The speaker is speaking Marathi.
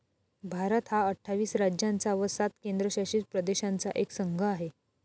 भारत हा अठ्ठावीस राज्यांचा व सात केंद्रशासित प्रदेशांचा एक संघ आहे.